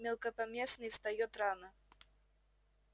мелкопоместный встаёт рано